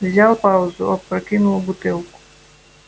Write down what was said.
взял паузу опрокинул бутылку